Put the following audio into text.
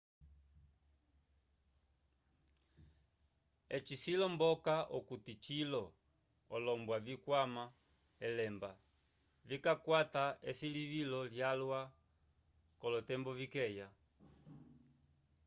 eci cilomboloka okuti cilo olombwa vikwama elemba vikakwata esilivilo lyalwa k'olotembo vikeya